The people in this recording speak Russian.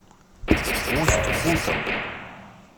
усть кутом